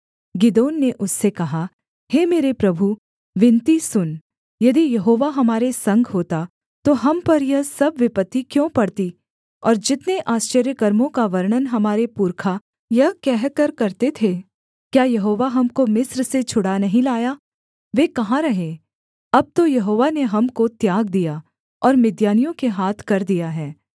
गिदोन ने उससे कहा हे मेरे प्रभु विनती सुन यदि यहोवा हमारे संग होता तो हम पर यह सब विपत्ति क्यों पड़ती और जितने आश्चर्यकर्मों का वर्णन हमारे पुरखा यह कहकर करते थे क्या यहोवा हमको मिस्र से छुड़ा नहीं लाया वे कहाँ रहे अब तो यहोवा ने हमको त्याग दिया और मिद्यानियों के हाथ कर दिया है